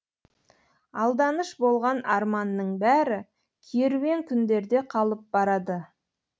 алданыш болған арманның бәрі керуен күндерде қалып барады